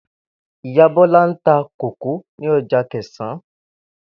Ìyá Bó̩lá ń ta kókò ní o̩jà Akè̩sán